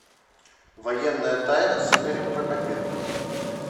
военная тайна с игорем прокопенко